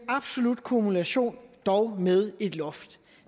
absolut kumulation men dog med et loft